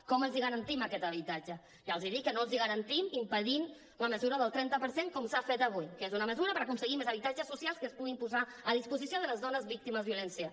com els garantim aquest habitatge ja els dic que no els ho garantim impedint la mesura del trenta per cent com s’ha fet avui que és una mesura per aconseguir més habitatges socials que es puguin posar a disposició de les dones víctimes de violència